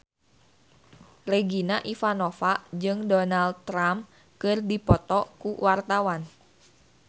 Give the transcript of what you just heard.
Regina Ivanova jeung Donald Trump keur dipoto ku wartawan